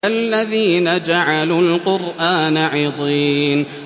الَّذِينَ جَعَلُوا الْقُرْآنَ عِضِينَ